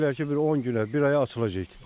Deyirlər ki, bir 10 günə, bir aya açılacaq.